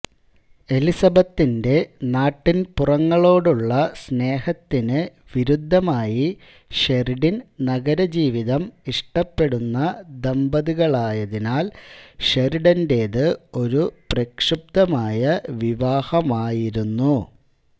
എലിസബത്തിന്റെ നാട്ടിൻപുറങ്ങളോടുള്ള സ്നേഹത്തിന് വിരുദ്ധമായി ഷെറിഡൻ നഗരജീവിതം ഇഷ്ടപ്പെടുന്ന ദമ്പതികളായതിനാൽ ഷെറിഡന്റേത് ഒരു പ്രക്ഷുബ്ധമായ വിവാഹമായിരുന്നു